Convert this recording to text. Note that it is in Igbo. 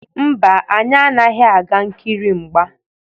Mba, anyị anaghị aga nkiri mgba.